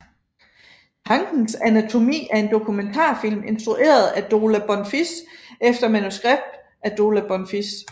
Tankens anatomi er en dokumentarfilm instrueret af Dola Bonfils efter manuskript af Dola Bonfils